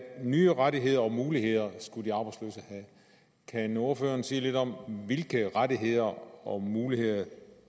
nye rettigheder og muligheder kan ordføreren sige lidt om hvilke rettigheder og muligheder